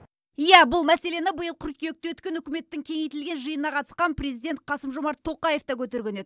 иә бұл мәселені биыл қыркүйекте өткен үкіметтің кеңейтілген жиынына қатысқан президент қасым жомарт тоқаев та көтерген еді